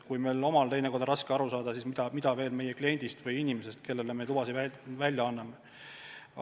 Kui ametnikel endal on teinekord raske neist aru saada, siis mida tahta inimestest, kellele me lubasid välja anname.